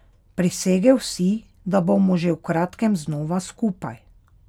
Prisegel si, da bomo že v kratkem znova skupaj.